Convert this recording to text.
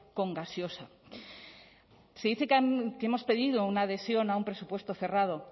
con gaseosa se dice que hemos pedido una adhesión a un presupuesto cerrado